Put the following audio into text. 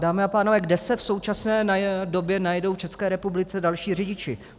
Dámy a pánové, kde se v současné době najdou v České republice další řidiči?